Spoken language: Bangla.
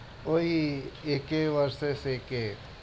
ওই AK versus AK